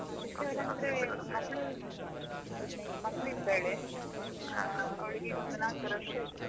ಮಗಳು ಮಗಳಿದ್ದಾಳೆ, ಆ ಅವಳಿಗೆ ಈಗ ಒಂದು ನಾಲ್ಕುವರೆ ವರ್ಷ ಆಯ್ತು.